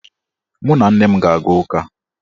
Mụ na nne m ga-aga ụka.